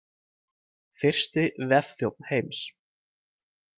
Fyrsti vefþjónn heims.